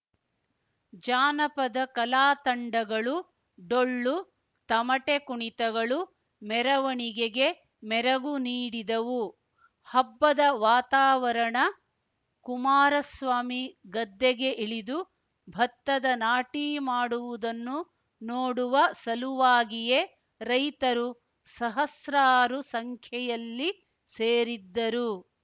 ಜಾನಪದ ಕಲಾತಂಡಗಳು ಡೊಳ್ಳು ತಮಟೆ ಕುಣಿತಗಳು ಮೆರವಣಿಗೆಗೆ ಮೆರಗು ನೀಡಿದವು ಹಬ್ಬದ ವಾತಾವರಣ ಕುಮಾರಸ್ವಾಮಿ ಗದ್ದೆಗೆ ಇಳಿದು ಭತ್ತದ ನಾಟಿ ಮಾಡುವುದನ್ನು ನೋಡುವ ಸಲುವಾಗಿಯೇ ರೈತರು ಸಹಸ್ರಾರು ಸಂಖ್ಯೆಯಲ್ಲಿ ಸೇರಿದ್ದರು